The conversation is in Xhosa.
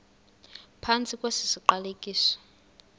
phantsi kwesi siqalekiso